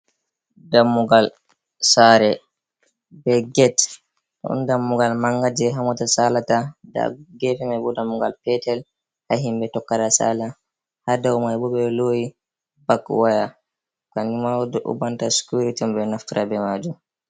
Dammugal sare be get don dammugal mangal je ha mota saalata da geefe dammugal petel ha himbe tokkata salaa ha dau mai bo ɓeloyi bak waya kanjum manma banta sicuiriti'on ɓe do naftira ɓe maajum.